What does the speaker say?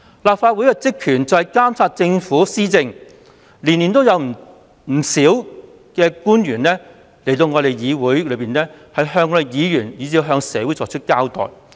立法會的職權是監察政府施政，每年皆有不少官員前來議會向議員以至社會交代工作。